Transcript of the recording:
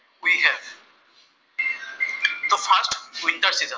winter season